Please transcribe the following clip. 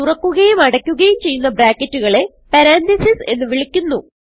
തുറക്കുകയും അടയ്ക്കുകയും ചെയ്യുന്ന ബ്രാക്കറ്റുകളെ പരന്തസിസ് എന്ന് വിളിക്കുന്നു